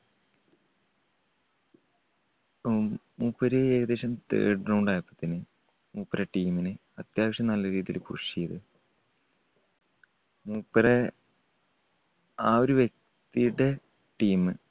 ഉം മൂപ്പര് ഏകദേശം third round ആയപ്പോതെന്നും മൂപ്പരുടെ team നെ അത്യാവശ്യം നല്ല രീതിയിൽ push ചെയ്തു. മൂപ്പരെ ആ ഒരു വ്യക്തിയുടെ team